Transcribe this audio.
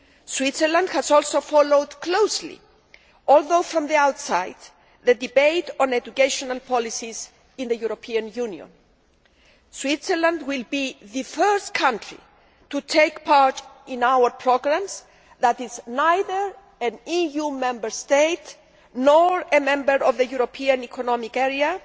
Switzerland has also followed closely, albeit from the outside, the debate on education policies in the European Union. Switzerland will be the first country to take part in our programmes that is neither an EU Member State nor a member of the European Economic Area,